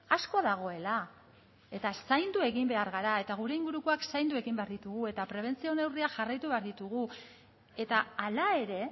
asko dagoela eta zaindu egin behar gara eta gure ingurukoak zaindu egin behar ditugu eta prebentzio neurriak jarraitu behar ditugu eta hala ere